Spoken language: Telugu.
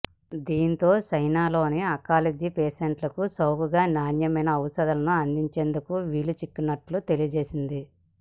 దీంతో చైనాలోని అంకాలజీ పేషంట్లకు చౌకగా నాణ్యమైన ఔషధాలను అందించేందుకు వీలు చిక్కనున్నట్లు తెలియజేసింది